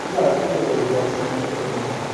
ina guje wa shiga cikin tattaunawar.